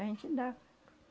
A gente dava.